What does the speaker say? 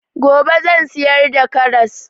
Gobe zan siyar da karras